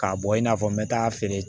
K'a bɔ i n'a fɔ n bɛ taa feere